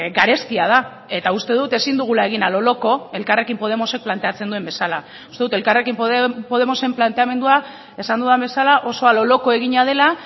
garestia da eta uste dut ezin dugula egin a lo loco elkarrekin podemosek planteatzen duen bezala uste dut elkarrekin podemosen planteamendua esan dudan bezala oso a lo loco egina dela